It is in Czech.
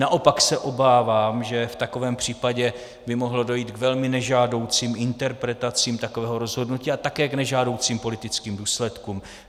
Naopak se obávám, že v takovém případě by mohlo dojít k velmi nežádoucím interpretacím takového rozhodnutí a také k nežádoucím politickým důsledkům.